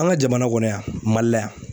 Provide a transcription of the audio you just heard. An ka jamana kɔnɔ yan Mali la yan